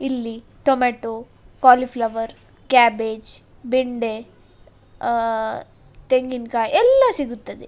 ಇಲ್ಲಿ tomato cauliflower cabbage ಬೆಂಡೆ ಅಹ್ ತೆಂಗಿನಕಾಯಿ ಎಲ್ಲಾ ಸಿಗುತ್ತದೆ.